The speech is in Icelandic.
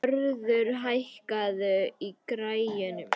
Vörður, hækkaðu í græjunum.